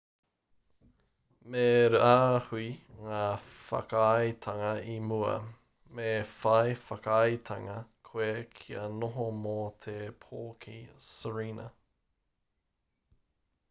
me rāhui ngā whakaaetanga i mua me whai whakaaetanga koe kia noho mō te pō ki sirena